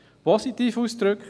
Positiv ausgedrückt: